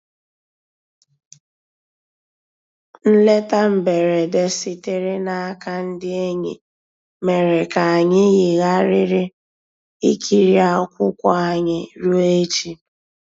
Nlétà mbèredè sìtèrè n'àka ndí ényì mèrè kà ànyị́ yìghàrị̀rị́ ìkìrí akwụ́kwọ́ ànyị́ rùó èchì.